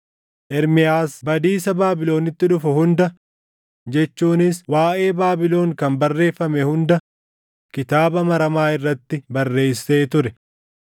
Ermiyaas badiisa Baabilonitti dhufu hunda, jechuunis waaʼee Baabilon kan barreeffame hunda kitaaba maramaa irratti barreessee ture.